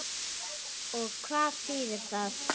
Og hvað þýðir það?